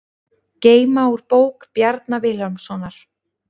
Geyma úr bók Bjarna Vilhjálmssonar